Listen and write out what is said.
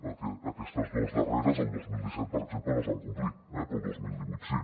perquè aquestes dues darreres el dos mil disset per exemple no es van complir eh però el dos mil divuit sí